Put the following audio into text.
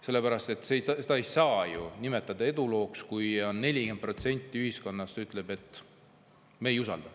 Seda ei saa ju nimetada edulooks, kui 40% ühiskonnast ütleb, et me ei usalda.